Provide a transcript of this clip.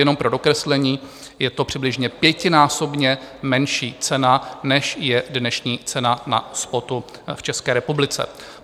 Jenom pro dokreslení, je to přibližně pětinásobně menší cena, než je dnešní cena na spotu v České republice.